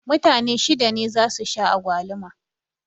Mutane shida ne za su sha agwaluma